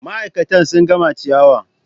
Ma'aikatan sun gama ciyawa.